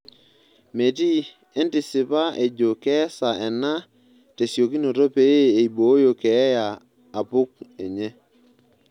Metii entisipa ejo keesa ena tesiokinoto pee eibooyo keeya apuk enye.